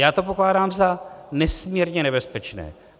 Já to pokládám za nesmírně nebezpečné.